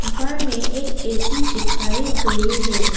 दीवार में एक ए_सी चिपकाए गए हैं।